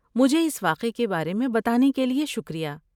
مجھے اس واقعے کے بارے میں بتانے کے لیے شکریہ۔